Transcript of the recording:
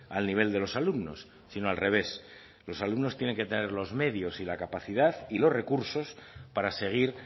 al nivel de los alumnos sino al revés los alumnos tienen que tener los medios y la capacidad y los recursos para seguir